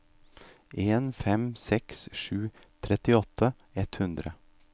en fem seks seks trettiåtte ett hundre